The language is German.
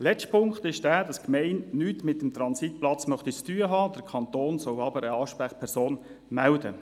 Der letzte Punkt: Die Gemeinde möchte mit dem Transitplatz nichts zu tun haben, der Kanton solle der Gemeinde aber eine Ansprechperson melden.